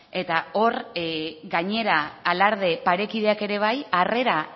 eta hor gainera alarde parekideak ere bai harrera